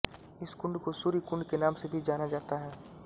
इस कुंड को सूर्य कुंड के नाम से भी जाना जाता है